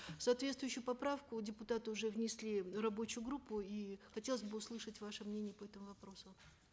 соответствующую поправку депутаты уже внесли в рабочую группу и хотелось бы услышать ваше мнение по этому вопросу